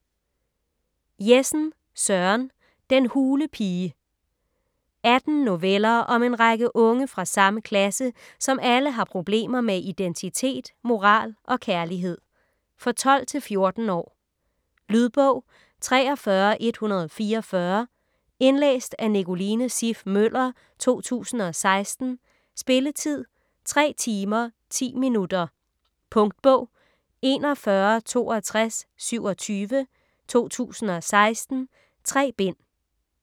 Jessen, Søren: Den hule pige 18 noveller om en række unge fra samme klasse, som alle har problemer med identitet, moral og kærlighed. For 12-14 år. Lydbog 43144 Indlæst af Nicoline Siff Møller, 2016. Spilletid: 3 timer, 10 minutter. Punktbog 416227 2016. 3 bind.